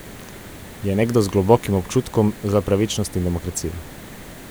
Je nekdo z globokim občutkom za pravičnost in demokracijo.